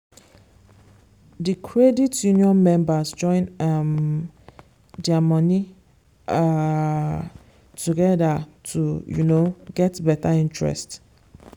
the credit union members join um their money um together to um get better interest.